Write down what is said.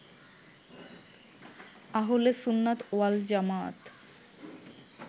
Ahle Sunnat wal Jamaat